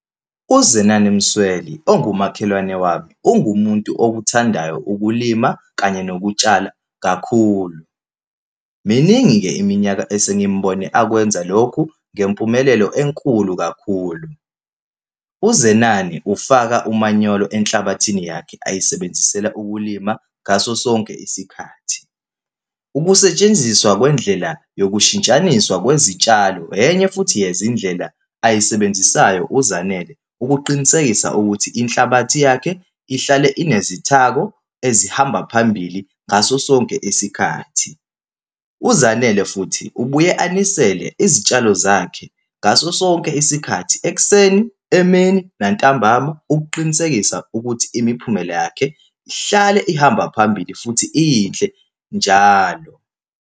UZenani Msweli, ongumakhelwane wami, ungumuntu okuthandayo ukulima kanye nokutshala kakhulu. Miningi-ke iminyaka esingimbone akwenza lokhu, ngempumelelo enkulu kakhulu. UZenani ufaka umanyolo enhlabathini yakhe ayisebenzisele ukulima ngaso sonke isikhathi. Ukusetshenziswa kwendlela nokushintshaniswa kwezitshalo, enye futhi yezindlela ayisebenzisayo uZanele, ukuqinisekisa ukuthi inhlabathi yakhe ihlale inezithako ezihamba phambili ngaso sonke isikhathi. UZanele futhi, ubuye anisele izitshalo zakhe ngaso sonke isikhathi, ekuseni, emini, nantambama, ukuqinisekisa ukuthi imiphumela yakhe ihlale ihamba phambili futhi iyinhle njalo.